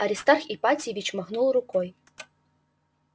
аристарх ипатьевич махнул рукой